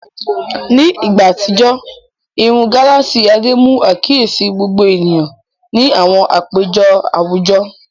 Ní ìgbà àtijọ́, irun gálààsì Adé mú àkíyèsí gbogbo ènìyàn ní àwọn àpéjọ àwùjọ.